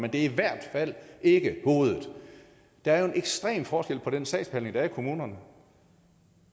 at det i hvert fald ikke er hovedet der er jo en ekstrem forskel på den sagsbehandling der er i kommunerne